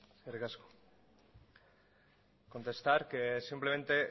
eskerrik asko contestar que simplemente